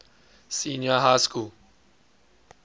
senior high school